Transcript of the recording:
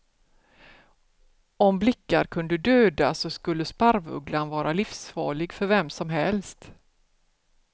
Om blickar kunde döda så skulle sparvugglan vara livsfarlig för vem som helst.